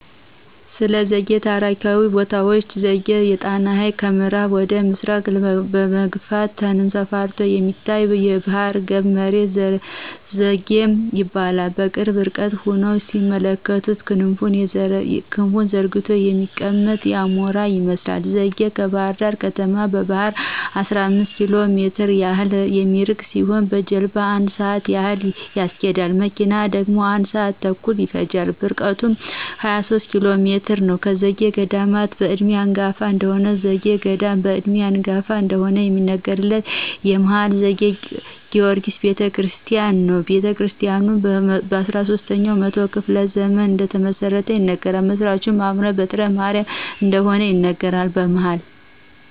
ስለዘጌ ታሪካዊ ቦታዎች ዘጌ የጣናን ሀይቅ ከምአራብ ወደ ምስራቅ በመግፋት ተንሰራፍቶ የሚታየው ባህረገብ መሬት ዘጌ ይባላል። በቅርብ ርቀት ሁነው ሲመለከቱት ክንፉን ዘርግቶ የተቀመጠ አሞራ ይመስላል ዘጌ ከባህርዳር ከተማ በባህር 15 ኪሎሜትር ያህል የሚርቅ ሲሆን በጀልባሞ 1 ስአት ያህል ያስኬዳል። በመኪና ደግሞ 1 ስአት ተኩል ይፈጃል ርቀቱም 23 ኪሎሜትር ነዉ። ከዘጌ ገዳማት በእድሜ አንጋፋ እደሆነ ከዘጌ ገዳማት በእድሜ አንጋፋ እደሆነ የሚነገርለት የመሀል ዘጌ ጊወርጊስ ቤተክርስቲያን ነው። ቤተክርስታያኑ በ13 ኛው መቶ ክፍለ ዘመን እደተመሰረተ ይነገራል። መስራቹም አቡነ በትረማርያም እደሆኑ ይነገራል። በመሀል